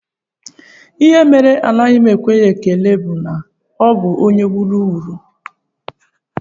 Ihe mere anaghị m ekwere ya ekele bụ na ọ bụ onye wuru wuru